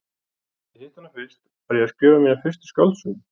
Þegar ég hitti hana fyrst, var ég að skrifa mína fyrstu skáldsögu.